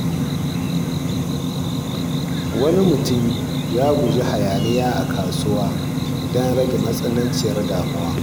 Wani mutum ya guji hayaniya a kasuwa don rage jin matsananciyar damuwa.